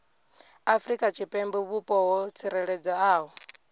afrika tshipembe vhupo ho tsireledzeaho